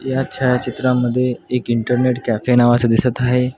या छायाचित्रामध्ये एक इंटरनेट कॅफे नावाचं दिसत आहे.